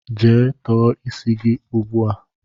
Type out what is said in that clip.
Jee tọọ isi gị ugbu a!